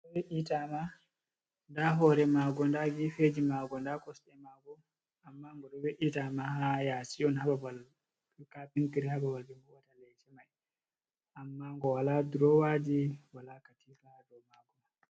Ndaa leeso we'itaama, ndaa hoore maago ,ndaa geefeji maago ndaa kosɗe maago ammaa ngo we'itaama, haa yaasi on haa babal kapintiri ,haa babal ɓe vo'ininta leece may ammaa ngo walaa durowaaji ,walaa Katina a dow maago.